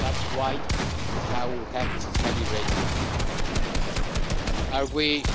That's why and how we have to calibrate them. Are we